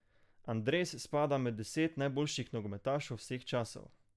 Andres spada med deset najboljših nogometašev vseh časov.